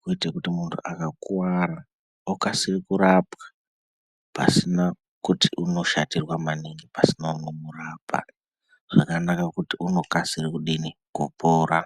kuite kuti muntu akakuvara okasire kurapwa pasina kuti unoshatirwa maningi pasina unomurapa. Zvakanaka ngekuti unokasire kudini kupora.